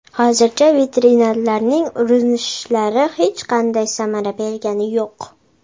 Hozircha veterinarlarning urinishlari hech qanday samara bergani yo‘q.